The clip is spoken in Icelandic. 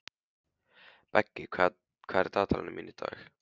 Beggi, hvað er í dagatalinu mínu í dag?